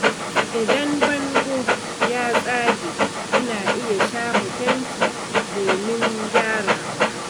Idan bango ya tsage, ana iya shafa fenti domin gyarawa.